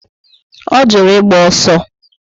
O juru ịgba ọsọ